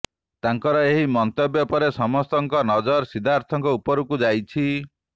ତାଙ୍କର ଏହି ମନ୍ତବ୍ୟ ପରେ ସମସ୍ତଙ୍କ ନଜର ସିଦ୍ଧାର୍ଥଙ୍କ ଉପରକୁ ଯାଇଛି